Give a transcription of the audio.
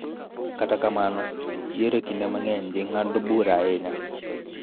Kata kamano, yiero kinde mang�eny ji ng�ado bura ahinya,